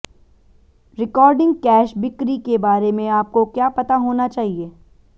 recording cash बिक्री के बारे में आपको क्या पता होना चाहिए